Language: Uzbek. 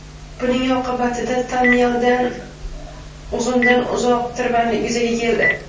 Buning oqibatida tonnelda uzundan-uzoq tirbandlik yuzaga keldi.